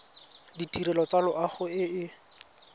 ditirelo tsa loago e e